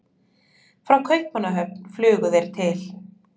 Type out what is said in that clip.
Frá Kaupmannahöfn flugu þeir til